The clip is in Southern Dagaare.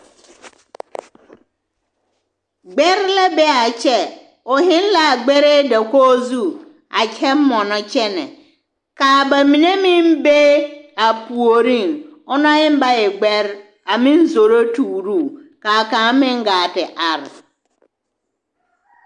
Gbɛre la be a kyɛ o zeŋ la a gbɛrɛɛ dakogi zu a kyɛ mɔnɔ kyɛnɛ ka a ba mine meŋ be a puoriŋ o na eŋ ba e gbɛre a meŋ zoro tuuro o ka a kaŋ meŋ gaa te are.